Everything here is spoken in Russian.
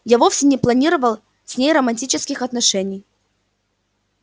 я вовсе не планировал с ней романтических отношений